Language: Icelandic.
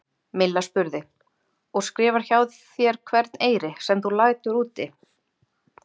Milla spurði: Og skrifar hjá þér hvern eyri, sem þú lætur úti?